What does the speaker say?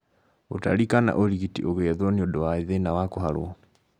Ũtari kana ũrigiti ũgĩethwo nĩũndũ wa thĩna wa kũharwo